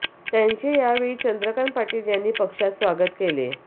त्यांचे या वेळी चंद्रकांत पाटील यांनी पक्षात स्वागत केले